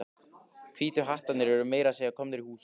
Hvítu hattarnir eru meira að segja komnir í hús.